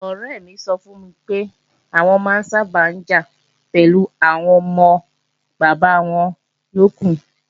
Ọ̀rẹ́ mi sọ fún mi pé, àwọn máa ń sábà jà pẹ̀lú àwọn ọmọ bàbá wọn yókù